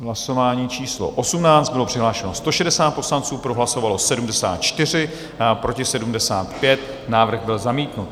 Hlasování číslo 18, bylo přihlášeno 160 poslanců, pro hlasovalo 74, proti 75, návrh byl zamítnut.